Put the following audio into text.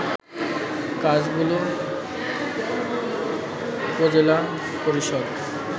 কাজগুলো উপজেলা পরিষদ